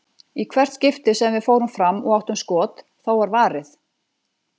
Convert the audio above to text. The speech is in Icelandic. Í hvert skipti sem við fórum fram og áttum skot, þá var varið.